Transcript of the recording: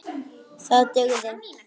Það dugði.